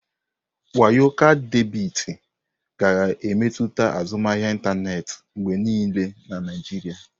Wayo kaadị debiti ga-emetụta azụmahịa ịntanetị mgbe niile na Naijiria.